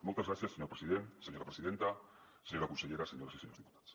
moltes gràcies senyor president senyora presidenta senyora consellera senyores i senyors diputats